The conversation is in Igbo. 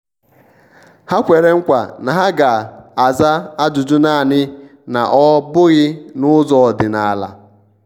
ha kwere nkwa na ha ga-aza ajụjụnaani na ọ bughi n'ụzọ ọdịnala.